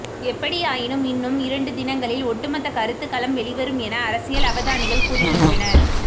எப்படியாயினும் இன்னும் இரண்டு தினங்களில் ஒட்டுமொத்த கருத்துக்கலும் வெளிவரும் என அரசியல் அவதானிகள் கூறுகின்றனர்